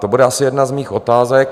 To bude asi jedna z mých otázek.